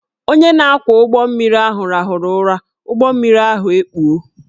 Onye na-akwọ ụgbọ mmiri ahụ rahụrụ ụra, ụgbọ mmiri ahụ ekpuo